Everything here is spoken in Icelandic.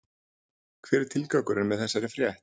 Hver er tilgangurinn með þessari frétt?